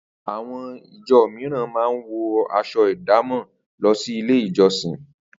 Àwo̩n ìjo̩ mìíràn máa ń wo̩ as̩o̩ ìdámò̩ lo̩ sí ilé ìjo̩sìn